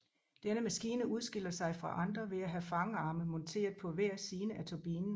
Denne maskine udskiller sig fra andre ved at have fangarme monteret på hver side af turbinen